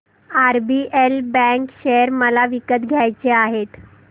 RBL bank share मला विकत घ्यायचे आहेत